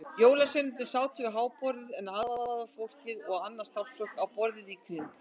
Jólasveinarnir sátu við háborðið en aðstorðafólkið og annað starfsfólk á borðunum í kring.